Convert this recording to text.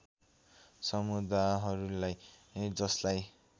समुदाहरूलाई जसलाई